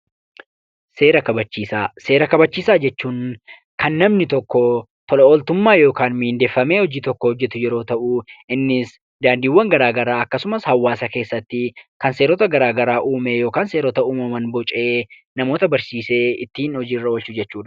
Seera kabachiisaa. Seera kabachiisaa jechuun kan namni tokkoo tola ooltummaa yookaan miindeffamee hojii tokko hojjetu yeroo ta'u innis daandiiwwan garaa garaa akkasumas hawaasa keessatti kan seerota garaa garaa uumeee yookaan seerota uumaman bocee namoota barsiisee ittiin hojiirra oolchu jechuudha.